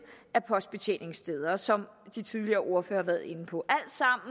af postbetjeningssteder som de tidligere ordførere har været inde på